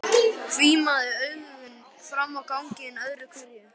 Hvimaði augunum fram á ganginn öðru hverju.